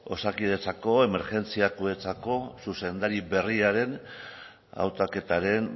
osakidetzako emergentzia kudetzako zuzendari berriaren autaketaren